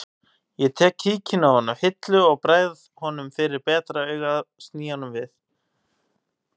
Ég tek kíkinn ofan af hillu og bregð honum fyrir betra augað sný honum við